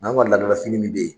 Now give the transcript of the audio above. an ka laada la fini min bɛ ye